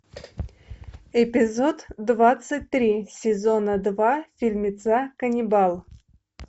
эпизод двадцать три сезона два фильмеца каннибал